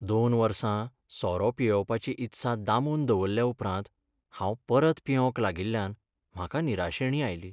दोन वर्सां सोरो पियेवपाची ईत्सा दामून दरवरल्याउपरांत हांव परत पियेवंक लागिल्ल्यान म्हाका निराशेणी आयली.